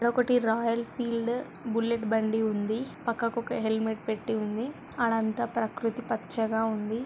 ఒకటి Royal Field Bullet బండి ఉంది. పక్కకు ఒక హెల్మెట్ పెట్టి ఉంది. ఆడ అంతా ప్రకృతి పచ్చగా ఉంది